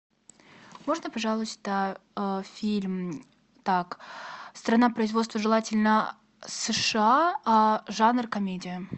можно пожалуйста фильм так страна производства желательно сша а жанр комедия